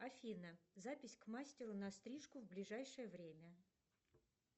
афина запись к мастеру на стрижку в ближайшее время